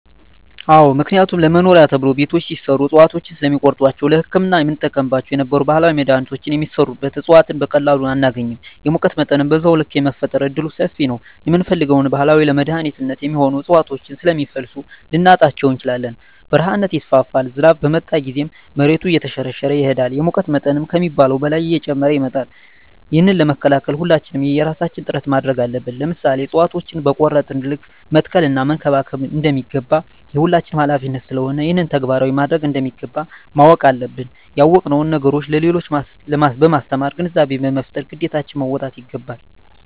አዎ ምክንያቱም ለመኖሪያ ተብሎ ቤቶች ሲሰሩ እፅዋቶችን ስለሚቆርጧቸዉ ለህክምና የምንጠቀምባቸው የነበሩ ባህላዊ መድሀኒቶች የሚሰሩበት እፅዋት በቀላሉ አናገኝም የሙቀት መጠንም በዛዉ ልክ የመፈጠር እድሉምሰፊ ነዉ የምንፈልገዉን ባህላዊ ለመድኃኒትነት የሚሆኑ እፅዋቶችን ስለሚፈልሱ ልናጣቸዉ እንችላለን በረሀነት ይስፋፋል ዝናብ በመጣ ጊዜም መሬቱ እየተሸረሸረ ይሄዳል የሙቀት መጠን ከሚባለዉ በላይ እየጨመረ ይመጣል ይህንን ለመከላከል ሁላችንም የየራሳችን ጥረት ማድረግ አለብን ለምሳሌ እፅዋቶችን በቆረጥን ልክ መትከል እና መንከባከብ እንደሚገባ የሁላችንም ሀላፊነት ስለሆነ ይህንን ተግባራዊ ማድረግ እንደሚገባ ማወቅ አለብን ያወቅነዉን ነገር ለሌሎች በማስተማር ግንዛቤ በመፍጠር ግዴታችን መወጣት ይገባል